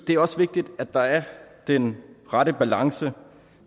det er også vigtigt at der er den rette balance